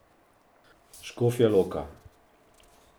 Škofja Loka.